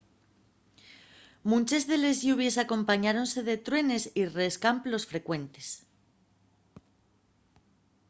munches de les lluvies acompañáronse de truenes y rescamplos frecuentes